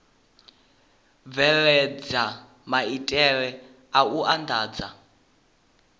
bveledza maitele a u andadza